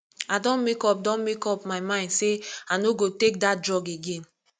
i don make up don make up my mind say i no go take dat drug again